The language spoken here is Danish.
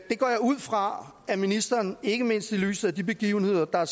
går jeg ud fra at ministeren ikke mindst i lyset af de begivenheder der har